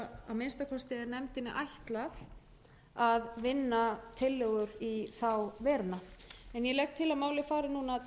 minnsta kosti er nefndinni ætlað að vinna tillögur í þá veruna ég legg til að málið fari núna